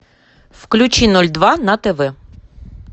включи ноль два на тв